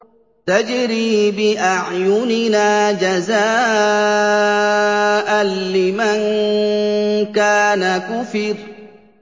تَجْرِي بِأَعْيُنِنَا جَزَاءً لِّمَن كَانَ كُفِرَ